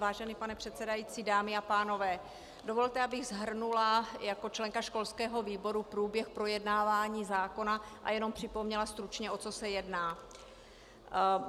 Vážený pane předsedající, dámy a pánové, dovolte, abych shrnula jako členka školského výboru průběh projednávání zákona a jenom připomněla stručně, o co se jedná.